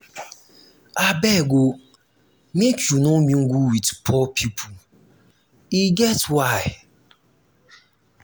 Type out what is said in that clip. abeg o make you no mingle wit poor pipo e get why.